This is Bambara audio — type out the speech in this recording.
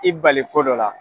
I bali ko dɔ la